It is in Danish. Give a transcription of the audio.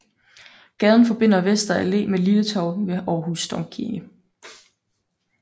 Gaden forbinder Vester Allé med Lille Torv ved Aarhus Domkirke